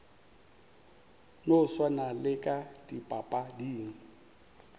no swana le ka dipapading